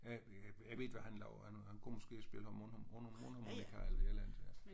Jeg ved ikke hvad han lavede. Han han kom måske og spillede mundharmonika eller et eller andet